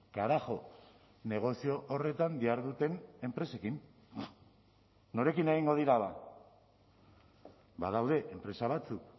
carajo negozio horretan diharduten enpresekin norekin egingo dira ba badaude enpresa batzuk